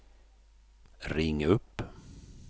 ring upp